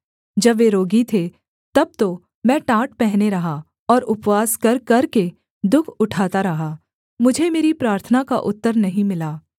जब वे रोगी थे तब तो मैं टाट पहने रहा और उपवास कर करके दुःख उठाता रहा मुझे मेरी प्रार्थना का उत्तर नहीं मिला